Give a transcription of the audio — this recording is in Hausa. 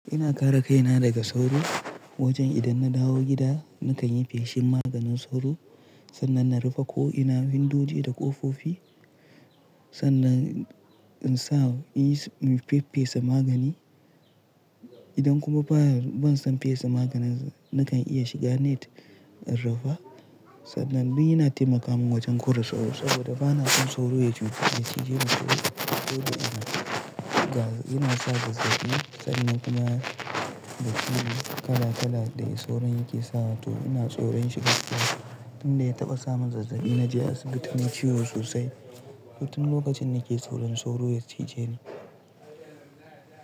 Ina kare kaina daga sauro wajen idan na dawo gida na kan yi feshin maganin sauro sannan na rufe ko ina windoje da ƙofofi sannan in sa in feffesa magani. Idan kuma ban son fesa maganin nakan iya shiga net in rufa. Sannan yana taimaka min wajen kore sauro saboda bana son sauro ya cije ni. Sauro yana sa zazzabi sannan kuma da ciwo kala kala da sauro yake sawa to ina tsoron shi gaskiya. Tun da ya taɓa sa min zazzabi na je asibiti nai ciwo sosai. Tun lokacin nake saurin sauro ya cije ni.